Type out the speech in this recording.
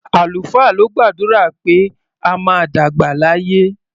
Àlùfáà ló gbàdúrà pé a máa dàgbà láyé.